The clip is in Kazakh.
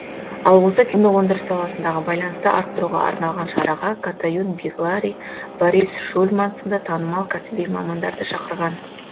ал осы киноөндіріс саласындағы байланысты арттыруға арналған шараға катаюн беглари борис шульман сынды танымал кәсіби мамандарды шақырған